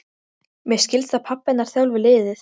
Mér skilst að pabbi hennar þjálfi liðið.